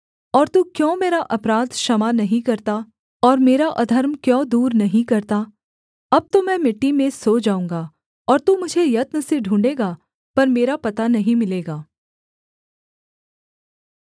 और तू क्यों मेरा अपराध क्षमा नहीं करता और मेरा अधर्म क्यों दूर नहीं करता अब तो मैं मिट्टी में सो जाऊँगा और तू मुझे यत्न से ढूँढ़ेगा पर मेरा पता नहीं मिलेगा